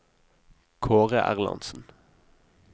Kaare Erlandsen